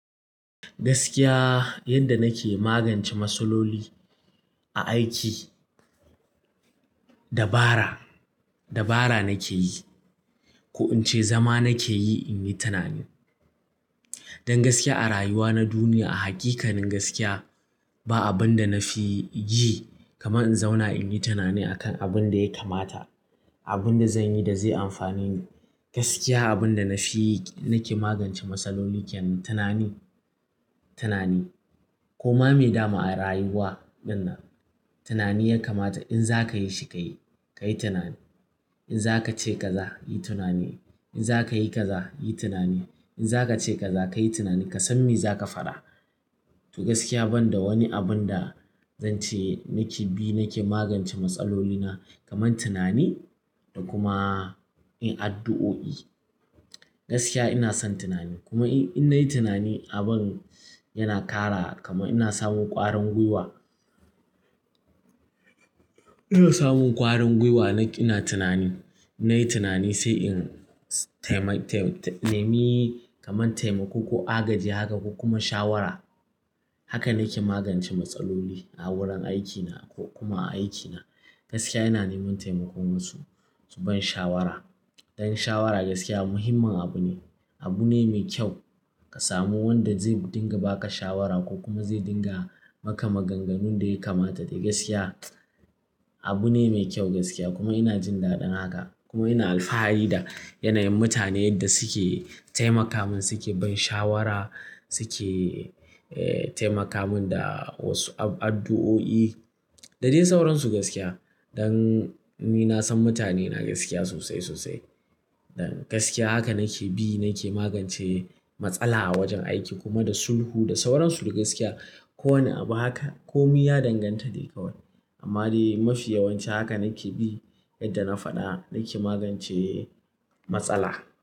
Gaskiya yadda nake magance matsaloli a aiki dabara, dabara nake yi ko in ce zama nake yi in yi tunani. Dan gaskiya a rayuwa na duniya a haƙiƙanin gaskiya ba abin da na fi ji kamar in zauna in yi tunani akan abin da ya kamata, abin da zan yi da zai amfane ni. Gaskiya abin da na fi nake magance matsaloli kyenan tunani, tunani. Kuma mai dama a rayuwa ɗin nan tunani ya kamata in za ka yi shi ka yi, ka yi tunani. In za ka ce ka za, yi tunani. In za ka yi ka za, yi tunani. In za ka ce ka za ka yi tunani ka san me za ka faɗa. To gaskiya banda wani abin da zan ce nake bi nake magance matsalolina kaman tunani da kuma yin addu'o'i. Gaskiya ina son tunani kuma in nayi tunani abin yana ƙara kamar ina samun ƙwarin guiwa. Ina samun ƙwarin guiwa na ina tunani. Nayi tunani sai in taimai, taimi, nemi kamar taimako ko agaji haka ko kuma shawara. Haka nake magance matsaloli a wurin aikina ko kuma a aikina. Gaskiya ina neman taimakon wasu, su ban shawara. Dan shawara gaskiya muhimmin abu ne. Abu ne mai kyau ka samu wanda zai dinga ba ka shawara ko kuma zai dinga maka maganganun da ya kamata. To gaskiya abu ne mai kyau gaskiya kuma ina jin daɗin haka kuma ina alfahari da yanayin mutanen da suke taimaka mun, suke ban shawara, suke, eh, taimaka mun da wasu ab-addu'o'i da dai sauransu gaskiya. Dan ni na san mutane na gaskiya sosai, sosai. Dan gaskiya haka nake bi nake magance matsala a wajen aiki kuma da sulhu da sauransu dai gaskiya. Ko wani abu haka ko mi ya danganta dai kawai. Amma dai mafi yawanci haka nake bi yadda na faɗa nake magance matsala.